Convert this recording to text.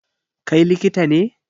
Kai likita ne?